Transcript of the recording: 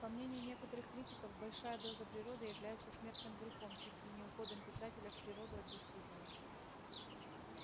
по мнению некоторых критиков большая доза природы является смертным грехом чуть ли не уходом писателя в природу от действительности